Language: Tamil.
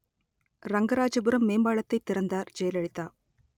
ரங்கராஜபுரம் மேம்பால‌த்‌தை ‌திற‌ந்தா‌ர் ஜெயல‌லிதா